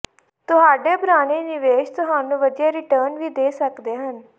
ਤੁਹਾਡੇ ਪੁਰਾਣੇ ਨਿਵੇਸ਼ ਤੁਹਾਨੂੰ ਵਧੀਆ ਰਿਟਰਨ ਵੀ ਦੇ ਸਕਦੇ ਹਨ